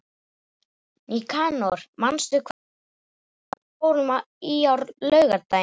Nikanor, manstu hvað verslunin hét sem við fórum í á laugardaginn?